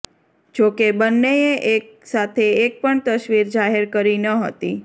જોકે બંનેએ એક સાથે એક પણ તસવીર જાહેર કરી ન હતી